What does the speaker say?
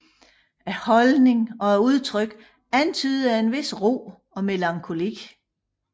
Holdningen og udtrykket antyder en vis ro og melankoli